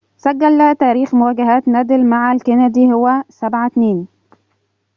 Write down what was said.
سجل تاريخ مواجهات نادال مع الكندي هو 7 - 2